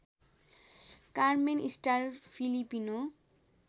Carmen Star Filipino